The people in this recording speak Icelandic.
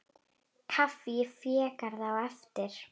Kaffi í Végarði á eftir.